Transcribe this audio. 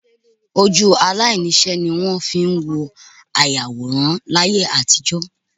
Ojú aláìníṣẹ́ ní wọ́n fi ń wo ayàwòrán láyé àtijọ́